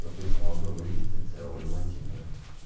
то ты смог бы вывести целый владимир